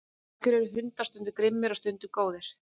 af hverju eru hundar stundum grimmir og stundum góðir